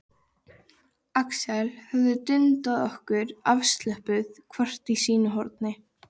Axel höfum dundað okkur afslöppuð hvort í sínu horni.